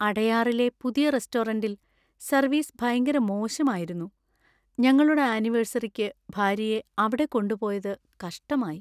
അടയാറിലെ പുതിയ റെസ്റ്റോറന്‍റിൽ സർവീസ് ഭയങ്കര മോശം ആയിരുന്നു, ഞങ്ങളുടെ ആനിവേഴ്സറിക്ക് ഭാര്യയെ അവിടെ കൊണ്ടുപോയതു കഷ്ടമായി.